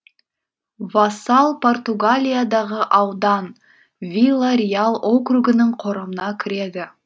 вассал португалиядағы аудан вила реал округінің құрамына кіреді